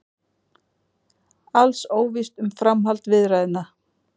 Alls óvíst um framhald viðræðna